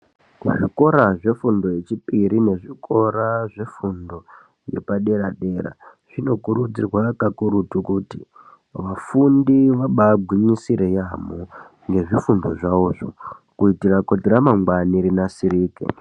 Kuzvikora zvefundo yechipiri nezvikora zvefundo yepadera-dera, zvinokurudzirwa kakurutu kuti vafundi vabaagwinyisire yaamho, nezvifundo zvavozvo, kuitira kuti ramangwani rinasirike.